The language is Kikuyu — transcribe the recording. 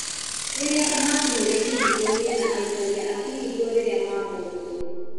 Rĩrĩa makinyire kĩhingoinĩ na aikaria a kĩhingo rĩrĩa mamuonire.